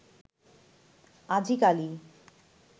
আজি কালি